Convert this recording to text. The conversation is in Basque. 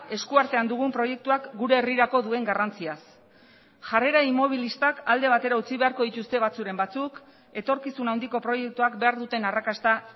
esku artean dugun proiektuak gure herrirako duen garrantziaz jarrera inmobilistak alde batera utzi beharko dituzte batzuren batzuk etorkizun handiko proiektuak behar duten arrakasta